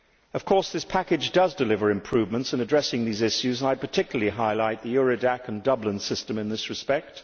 Of course this package does deliver improvements in addressing these issues, and I particularly highlight Eurodac and the Dublin system in this respect.